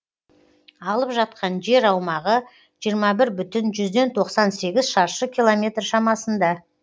алып жатқан жер аумағы жиырма бір бүтін жүзден тоқсан сегіз шаршы километр шамасында